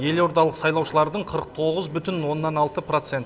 елордалық сайлаушылардың қырық тоғыз бұтін оннан алты процент